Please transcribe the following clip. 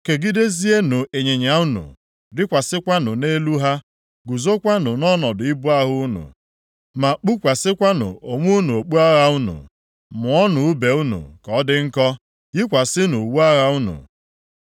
Kegidezienụ ịnyịnya unu, rịkwasịkwanụ nʼelu ha. Guzokwanụ nʼọnọdụ ibu agha unu, ma kpukwasịkwanụ onwe unu okpu agha unu. Mụọnụ ùbe unu ka ọ dị nkọ, yikwasịkwanụ uwe agha unu.